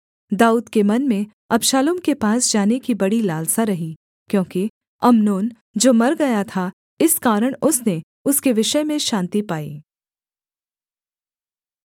दाऊद के मन में अबशालोम के पास जाने की बड़ी लालसा रही क्योंकि अम्नोन जो मर गया था इस कारण उसने उसके विषय में शान्ति पाई